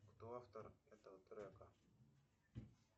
кто автор этого трека